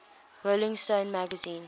rolling stone magazine